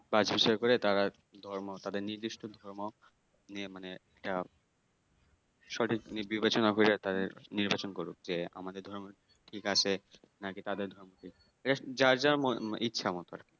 পাঁচ বছর পরে তারা ধর্ম তাদের নির্দিষ্ট ধর্ম নিয়ে মানে একটা সঠিক বিবেচনা করে তাদের নির্বাচন করুক যে আমাদের ধর্ম ঠিক আছে নাকি তাদের ধর্ম ঠিক যে যার যার ইছা মতো আরকি।